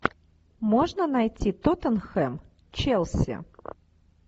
можно найти тоттенхэм челси